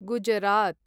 Gujarat